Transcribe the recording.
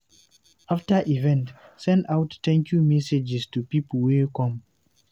After di event, send out thank you messages to pipo wey come